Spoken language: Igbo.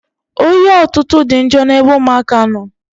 Oyi ọtụtụ dị njọ n'ebe ụmụaka nọ.